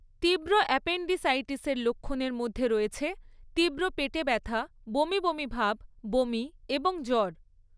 তীব্র অ্যাপেণ্ডিসাইটিসের লক্ষণের মধ্যে রয়েছে তীব্র পেটে ব্যথা, বমি বমি ভাব, বমি এবং জ্বর।